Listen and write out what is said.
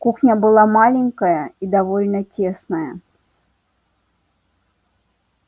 кухня была маленькая и довольно тесная